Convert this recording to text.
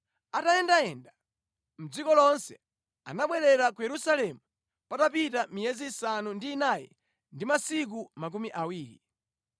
Atayendayenda mʼdziko lonse anabwerera ku Yerusalemu patapita miyezi isanu ndi inayi ndi masiku makumi awiri.